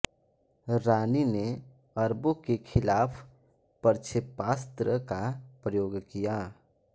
रानी ने अरबों के खिलाफ प्रक्षेपास्त्र का प्रयोग किया